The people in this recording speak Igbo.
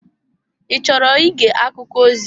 Ị chọrọ ige akụkọ ozi?